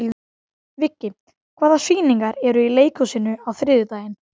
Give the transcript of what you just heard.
Viggi, hvaða sýningar eru í leikhúsinu á þriðjudaginn?